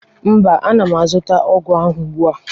Mba, ana m azụta ọgwụ ahụ ugbu a